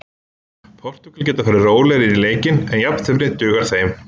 Portúgal geta farið rólegri inn í leikinn en jafntefli dugar þeim.